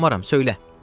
qorxmaram, söylə.”